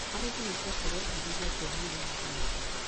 Harĩ kĩhiko, tũrebundithia kuohanĩra na kũnyitana.